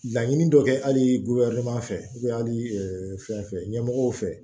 Laɲini dɔ kɛ hali fɛ hali fɛn fɛn ɲɛmɔgɔw fɛ